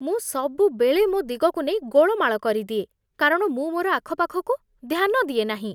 ମୁଁ ସବୁବେଳେ ମୋ ଦିଗକୁ ନେଇ ଗୋଳମାଳ କରିଦିଏ, କାରଣ ମୁଁ ମୋର ଆଖପାଖକୁ ଧ୍ୟାନ ଦିଏ ନାହିଁ।